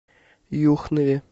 юхнове